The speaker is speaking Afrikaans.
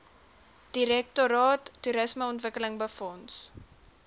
direktoraat toerismeontwikkeling befonds